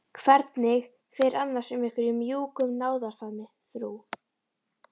Hvernig fer annars um ykkur í mjúkum náðarfaðmi frú